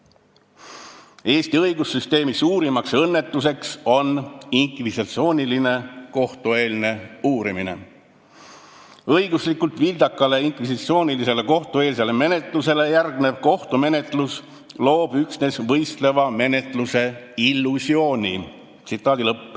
Ta ütles, et Eesti õigussüsteemi suurimaks õnnetuseks on inkvisitsiooniline kohtueelne uurimine ning õiguslikult vildakale inkvisitsioonilisele kohtueelsele menetlusele järgnev kohtumenetlus loob üksnes võistleva menetluse illusiooni.